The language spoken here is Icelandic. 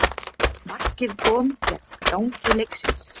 Markið kom gegn gangi leiksins